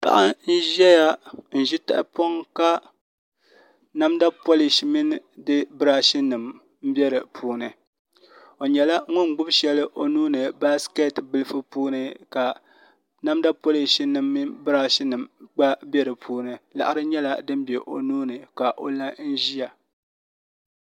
Paɣa n ʒɛya n ʒi tahapoŋ ka namda polish mini di birash nim n bɛ di puuni o nyɛla ŋun gbubi shɛli o nuuni baskɛt bilifu puuni ka namda polish nim mini birash nim gba bɛ di puuni laɣari nyɛla din bɛ o nuuni ka o la n ʒiya